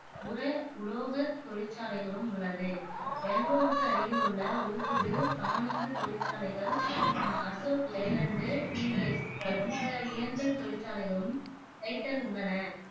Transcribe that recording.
உர, உலோகத் தொழிற்சாலைகளும் உள்ளது. பெங்களூருக்கு அருகில் உள்ள ஓசூரில் தானுந்து தொழிற்சாலைகள் அசோக் லேலண்டு, டிவிஎஸ், மற்ற இயந்திரத் தொழிற்சாலைகளும் டைட்டன் உள்ளன.